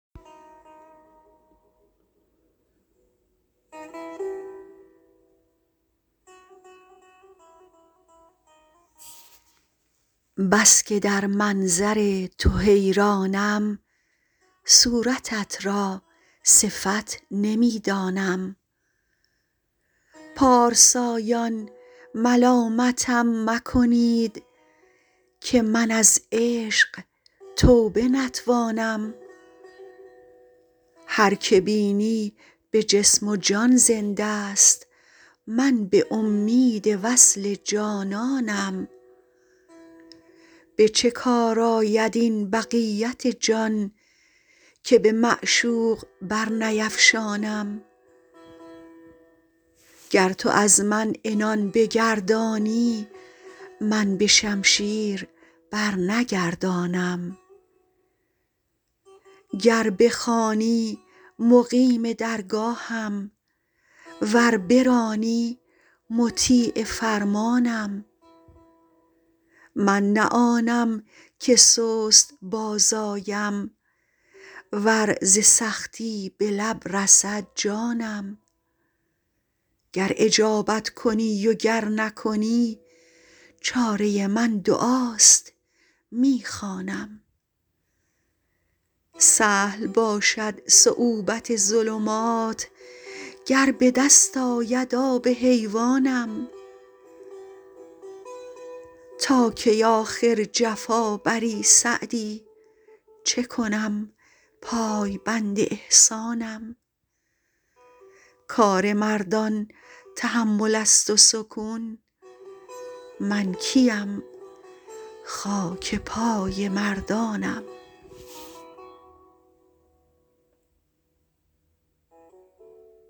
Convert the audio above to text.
بس که در منظر تو حیرانم صورتت را صفت نمی دانم پارسایان ملامتم مکنید که من از عشق توبه نتوانم هر که بینی به جسم و جان زنده ست من به امید وصل جانانم به چه کار آید این بقیت جان که به معشوق برنیفشانم گر تو از من عنان بگردانی من به شمشیر برنگردانم گر بخوانی مقیم درگاهم ور برانی مطیع فرمانم من نه آنم که سست باز آیم ور ز سختی به لب رسد جانم گر اجابت کنی و گر نکنی چاره من دعاست می خوانم سهل باشد صعوبت ظلمات گر به دست آید آب حیوانم تا کی آخر جفا بری سعدی چه کنم پایبند احسانم کار مردان تحمل است و سکون من کی ام خاک پای مردانم